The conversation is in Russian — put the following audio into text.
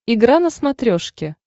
игра на смотрешке